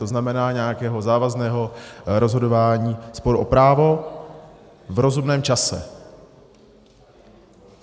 To znamená nějakého závazného rozhodování sporu o právo v rozumném čase.